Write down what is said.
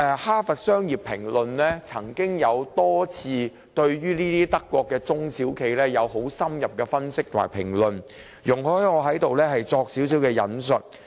《哈佛商業評論》曾多次對德國這類型的中小企進行深入分析及評論，請容許我在此稍作引述。